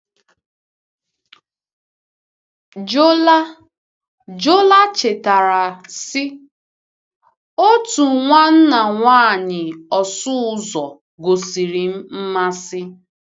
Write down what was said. Jola Jola chetara, sị: Otu nwanna nwanyị ọsụ ụzọ gosiri m mmasị.